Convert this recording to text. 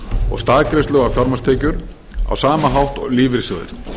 og staðgreiðslu á fjármagnstekjur á sama hátt og lífeyrissjóðir